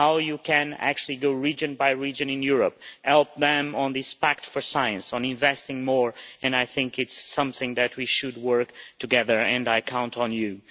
how you can actually go region by region in Europe, help them with this pact for science, with investing more, and I think this is something that we should work on together and I count on you.